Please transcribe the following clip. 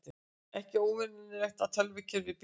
Ekki óvenjulegt að tölvukerfi bili